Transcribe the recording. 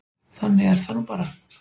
Þannig er það nú bara.